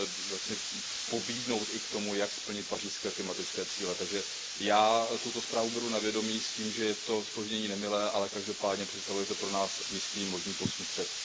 jaksi pobídnout i k tomu, jak splnit pařížské klimatické cíle, takže já tuto zprávu beru na vědomí s tím, že je to zpoždění nemilé, ale každopádně představuje to pro nás jistý možný posun vpřed.